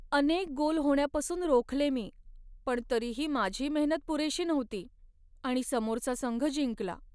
अनेक गोल होण्यापासून रोखले मी, पण तरीही माझी मेहनत पुरेशी नव्हती आणि समोरचा संघ जिंकला.